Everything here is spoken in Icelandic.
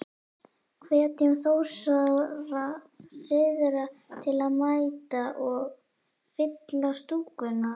Hvetjum Þórsara syðra til að mæta og. fylla stúkuna?